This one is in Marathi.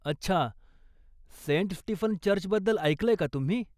अच्छा, सेंट स्टीफन चर्चबद्दल ऐकलंय का तुम्ही?